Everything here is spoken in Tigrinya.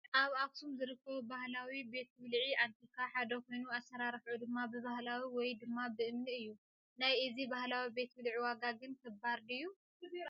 ካብ ኣክሱም ዝርከቡ ባህላዊ ቤት ብልዒ ኣንቲካ ሓደ ኮይኑ ኣሰራርሑ ድማ ብባህላዊ ወይ ድማ ብእምኒ እዩ ። ናይ እዚ ባህላዊ ቤት ብልዒ ዋጋ ግን ክባር ድዩ ?